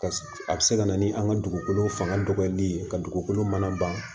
Ka a bɛ se ka na ni an ka dugukolo fanga dɔgɔyali ye ka dugukolo mana ban